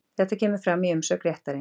Þetta kemur fram í umsögn réttarins